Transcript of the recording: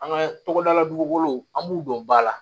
An ka tɔgɔdalabuguw an b'u don ba la